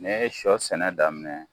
Ne ye sɔ sɛnɛ daminɛ